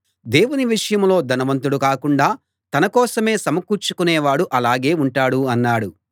దేవుని విషయంలో ధనవంతుడు కాకుండా తన కోసమే సమకూర్చుకునే వాడు అలాగే ఉంటాడు అన్నాడు